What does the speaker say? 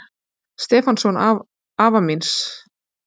Stefánssonar afa míns.